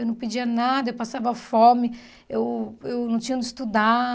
Eu não pedia nada, eu passava fome, eu eu não tinha onde estudar.